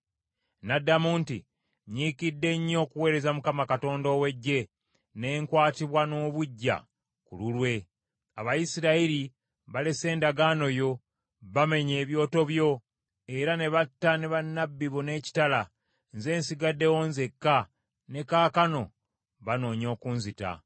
N’addamu nti, “Nyiikidde nnyo okuweereza Mukama Katonda ow’Eggye ne nkwatibwa n’obuggya ku lulwe. Abayisirayiri balese endagaano yo, bamenye ebyoto byo, era ne batta ne bannabbi bo n’ekitala. Nze nsigaddewo nzekka, ne kaakano bannoonya okunzita.”